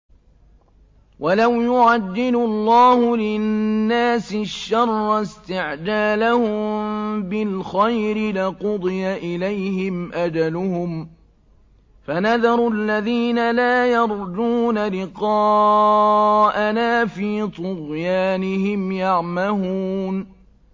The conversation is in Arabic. ۞ وَلَوْ يُعَجِّلُ اللَّهُ لِلنَّاسِ الشَّرَّ اسْتِعْجَالَهُم بِالْخَيْرِ لَقُضِيَ إِلَيْهِمْ أَجَلُهُمْ ۖ فَنَذَرُ الَّذِينَ لَا يَرْجُونَ لِقَاءَنَا فِي طُغْيَانِهِمْ يَعْمَهُونَ